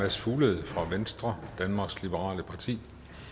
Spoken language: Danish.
mads fuglede fra venstre danmarks liberale parti